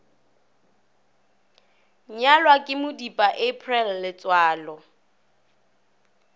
nyalwa ke modipa april letsoalo